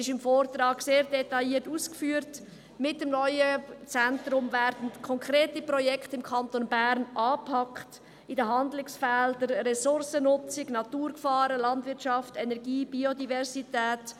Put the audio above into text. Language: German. Im Vortrag wird sehr detailliert ausgeführt, dass mit dem neuen Zentrum im Kanton Bern konkrete Projekte angepackt werden, in den Handlungsfeldern Ressourcennutzung, Naturgefahren, Landwirtschaft, Energie und Biodiversität.